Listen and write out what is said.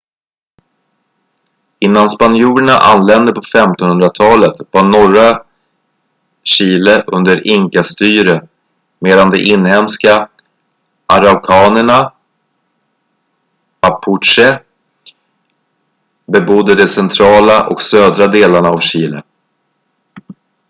innan spanjorerna anlände på 1500-talet var norra chile under inka-styre medan de inhemska araukanerna mapuche bebodde de centrala och södra delarna av chile